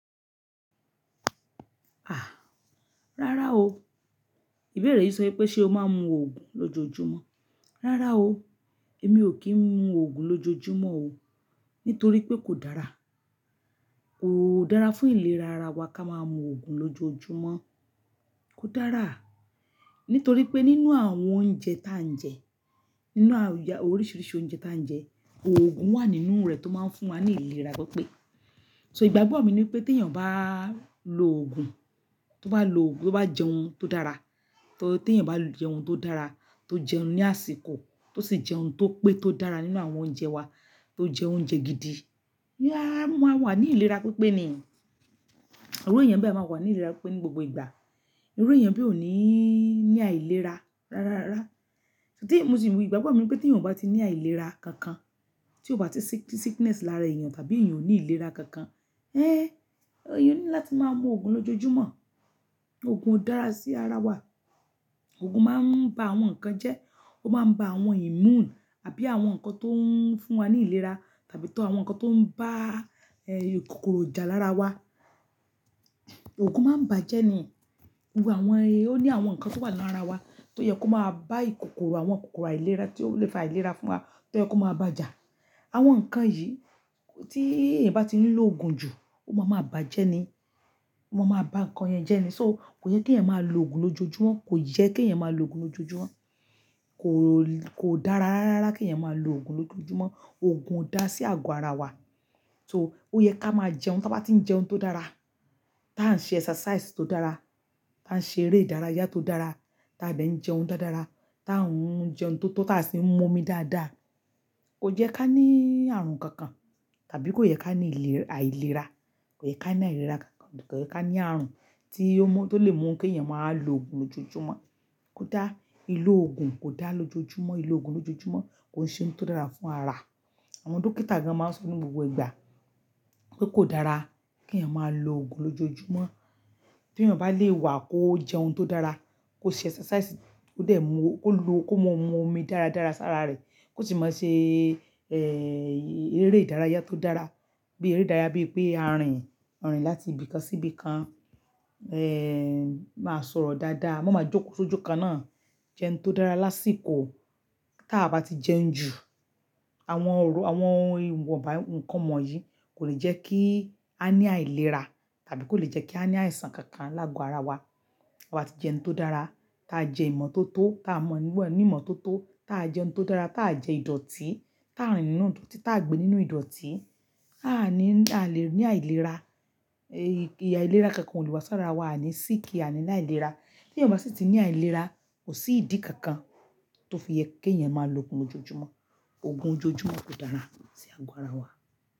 Ah! Rárá o, ìbéèrè yìí sọ pé ṣe o máa ń mu òògùn lójoojúmọ́? Rárá o, èmi ò kí ń mu òògùn lójoojúmọ́ o, nítorí pé kò dára. Kò dára fún ìlera ara wa ká máa mu òògùn lójoojúmọ́. Kò dára, nítorí pé nínú àwọn oúnjẹ ta ń jẹ, nínú a, oríṣiríṣi oúnjẹ ta ń jẹ, òògùn wà nínú rẹ̀ tó máa ń fún wa ní ìlera pípé. Ìgbàgbọ́ ni pé téèyàn bá lo òògùn, tó bá lo òògùn tó bá jẹun tó dára téèyàn jẹun tó dára tó jẹun ní àsìkò tó sì jẹhun tó pé tó dára nínú àwọn oúnjẹ wa tó jẹ́ oúnjẹ gidi a, a ma wà ní ìlera pípé ni. Irú èèyàn bẹ́ẹ̀ máa wà ní ìlera pípé ní gbogbo ìgbà. Irú èèyàn bẹ ò ní ní àìlera rararara. Ìgbàgbọ́ mi ni pé tí èèyàn ò bá ti ní àìlera kankan, tí ò bá ti sickness lára èèyàn tàbí èèyàn ò ní ìlera kankan, ẹ́ èèyàn o need láti máa mu òògùn lójoojúmọ́. Òògùn ò dára sí ara wa. Òògùn máa ń ba àwọn nǹkan jẹ́, ó máa ń ba àwọn immune àbí àwọn nǹkan tó ń fún wa ní ìlera tàbí tọ àwọn nǹkan tó ń bá, ẹ́ kòkòrò jà lára wa. Òògùn máa ń bàjẹ́ ni. Àwọn, ó ní àwọn nǹkan tó wà lára wa tó yẹ kó máa bá ìkòkòrò, àwọn kòkòrò àìlera tí ó le fa àìlera fún wa tó yẹ kó máa bàjẹ́. Àwọn nǹkan yìí tí èèyàn bá ti nílò òògùn jù, ó máa ma bàjẹ́ ni. Ó máa ma ba nǹkan yẹn jẹ́ ni. So kò yẹ kí èèyàn máa lo òògùn lójoojúmọ́, kò yẹ kí èèyàn máa lo òògùn lójoojúmọ́. Kò, kò dára rararara kí èèyàn máa lo òògùn lójoojúmọ́. Òògùn ò dá sí àgọ́ ara wa. So, ó yẹ ká máa jẹun, taa bá ti ń jẹun tó dára, tá ń ṣe exercise tó dára, tá ń ṣe eré ìdárayá tó dára, ta de ń jẹun dáradára, tá ń jẹun tó tóto sí ń mú omi dáadáa. Kò yẹ ká ní ààrùn kankan, tàbí kò yẹ ká ní ìléra, àìlera, kò yẹ ká ní àìlera kankan, kò yẹ ká ní ààrùn tí ó mu, tó lè mú kí èèyàn máa wá lo òògùn lójoojúmọ́. Kò dá, lílò òògùn kò dá lójoojúmọ́, lílò òògùn lójoojúmọ́ kò ń ṣe ohun tó dára fún ara. Àwọn dókítà gan-an máa ń sọ ní gbogbo ìgbà pé kò dára kí èèyàn máa lo òògùn lójoojúmọ́. Tí èèyàn bá lè wà kó jẹ ohun tó dára, kó ṣe exercise, kó dẹ̀ mu, kó lo, kó mọ́ mu omi dáradára sára rẹ̀, kó sì máa ṣe, ẹ́ eré ìdárayá tó dára, bí eré ìdárayá bíi pé ààrín, ààrín láti ibì kan sí ibì kan, ẹ́, máa sọ̀rọ̀ dáadáa, máa ma jókòó sójú kan náà, jẹun tó dára lásìkò. Tí a bá ti jẹun jù, àwọn ir, àwọn ìwọ̀nba nǹkan wọ̀nyí kò lè jẹ́ kí a ní àìlera tàbí kò lè jẹ́ kí a ní àìsàn kankan lágo ara wa. A bá ti jẹun tó dára, tí a jẹ ìmọ̀ tó tó, tí a mọ̀, níwọ̀n--, ní ìmọ̀ tó tó, tí a jẹ ohun tó dára, tí aa jẹ ìdọ̀tí, tí aa rìn nínú ìdọ̀tí, tí aa gbé nínú ìdọ̀tí, a á ní, a lè ní àìlera, ẹ̀ ìhà ìlera kankan ò lè wá sára wa ní sí kí a ní àìlera. Tí èèyàn bá sì ti ní àìlera, kò sí ìdí kankan tó fi yẹ kí èèyàn máa lo òògùn lójoojúmọ́. Òògùn ójoojúmọ́ kò dára sí àgọ́ ara wa.